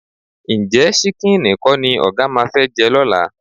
Ǹjẹ́ ṣíkíìnì kọ́ ni ọ̀gá máa fẹ́ jẹ lọ́la?